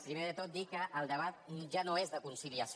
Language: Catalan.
primer de tot dir que el debat ja no és de conciliació